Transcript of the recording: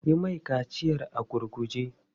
Yi mai kaciyar a gurguje!